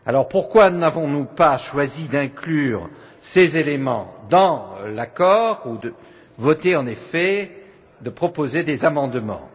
Pourquoi alors n'avons nous pas choisi d'inclure ces éléments dans l'accord ou, en effet, de proposer des amendements?